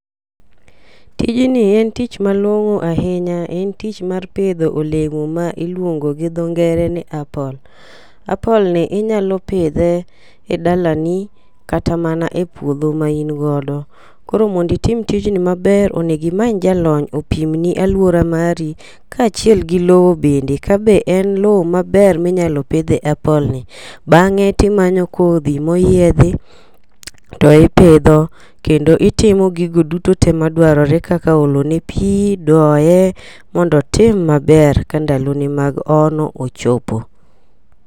Tijni en tich malong'o ahinya en tich mar pidho olemo ma iluongo gi dho ngere ni apple apple ni inyalo pidhe e dalani kata mana e puodho ma in godo. Koro mondi tim tijni maber onego imany jalony opimni aluora mari kaachiel gi lowo bende ka be en lowo maber minyalo pidhe apple ni. Bang'e timanyo kodhi moyiedhi to ipidho kendo ipidho gigo duto tee madwarore kaka olo ne pii, doye mondo otim maber ka ndalo ne mag ono ochopo.